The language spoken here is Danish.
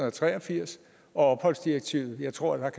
og tre og firs og opholdsdirektivet og jeg tror